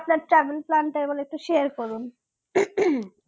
আপনার চাকরির plan টা এইবার একটু share করুন